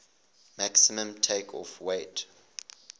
maximum takeoff weight